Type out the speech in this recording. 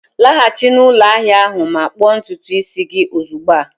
Laghachi na ụlọ ahia ahụ ma kpụọ ntutu isi gị ozugbo a!